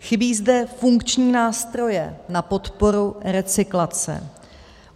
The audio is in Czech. Chybí zde funkční nástroje na podporu recyklace.